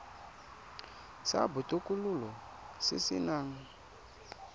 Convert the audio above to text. sa botokololo se se nang